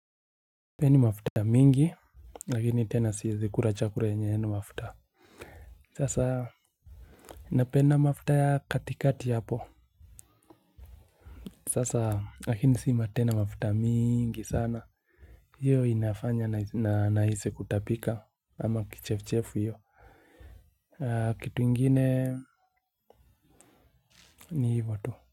Sipendi mafuta mingi, lakini tena siwezi kula chakula yenye haina mafuta. Sasa, napenda mafuta ya katikati hapo. Sasa lakini si tena mafuta miiingi sana. Hiyo inafanya na nahisi kutapika ama kichefchefu hivo. Kitu ingine ni hivo tu.